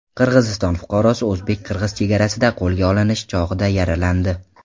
Qirg‘iziston fuqarosi o‘zbek-qirg‘iz chegarasida qo‘lga olinish chog‘ida yaralandi.